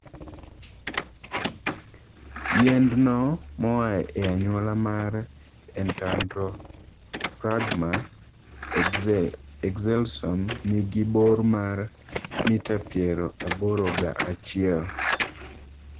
Yiend no moa e anyuola mar entandrophragma excelsum ni gi bor mar mita piero aboro ga achiel.